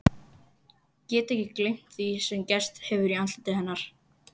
Get ekki gleymt því sem gerst hefur í andliti hennar.